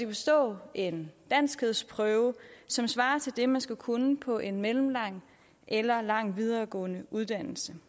bestå en danskprøve som svarer til det man skal kunne på en mellemlang eller lang videregående uddannelse